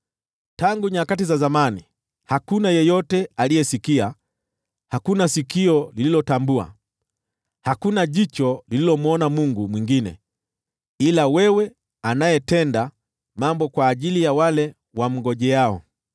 Tangu nyakati za zamani hakuna yeyote aliyesikia, hakuna sikio lililotambua, hakuna jicho lililomwona Mungu mwingine ila wewe, anayetenda mambo kwa ajili ya wale wamngojeao.